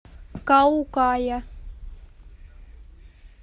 каукая